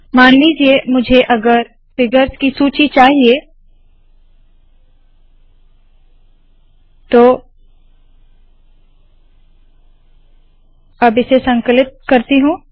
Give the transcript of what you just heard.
मान लीजिये मुझे अगर फिगर्स की सूची चाहिए तो मैं इस संकलित करती हूँ